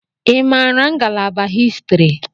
I maara ngalaba Histiri?